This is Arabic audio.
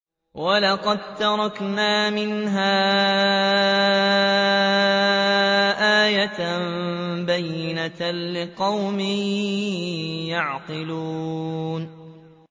وَلَقَد تَّرَكْنَا مِنْهَا آيَةً بَيِّنَةً لِّقَوْمٍ يَعْقِلُونَ